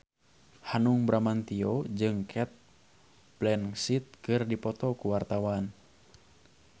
Hanung Bramantyo jeung Cate Blanchett keur dipoto ku wartawan